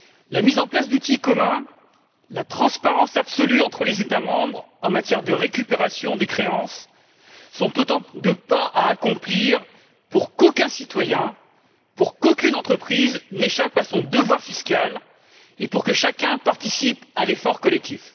La mise en place d'outils communs, la transparence absolue entre les États membres en matière de récupération des créances, sont autant de pas à accomplir pour qu'aucun citoyen, pour qu'aucune entreprise n'échappe à son devoir fiscal, et pour que chacun participe à l'effort collectif.